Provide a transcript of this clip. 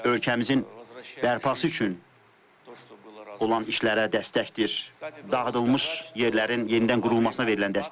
Ölkəmizin bərpası üçün olan işlərə dəstəkdir, dağıdılmış yerlərin yenidən qurulmasına verilən dəstəkdir.